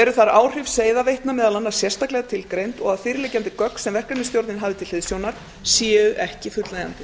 eru þar áhrif seiðaveitna meðal annars sérstaklega tilgreind og að fyrirliggjandi gögn sem verkefnisstjórnin hafði til hliðsjónar séu ekki fullnægjandi